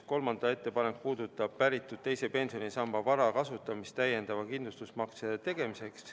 Kolmas ettepanek puudutab päritud teise pensionisamba vara kasutamist täiendava kindlustusmakse tegemiseks.